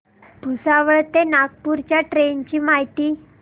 भुसावळ ते नागपूर च्या ट्रेन ची माहिती